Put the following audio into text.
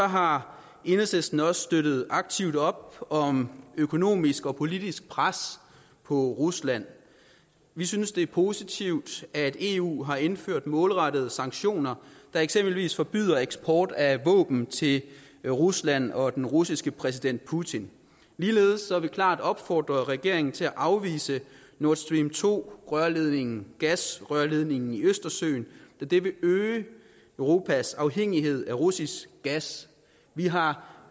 har enhedslisten også støttet aktivt op om økonomisk og politisk pres på rusland vi synes det er positivt at eu har indført målrettede sanktioner der eksempelvis forbyder eksport af våben til rusland og den russiske præsident putin ligeledes har vi klart opfordret regeringen til at afvise nord stream to rørledningen gasrørledningen i østersøen da det vil øge europas afhængighed af russisk gas vi har